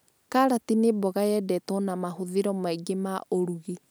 Kariti nĩ mboga yendetwo na mahũthĩro maingĩ ma ũrũgi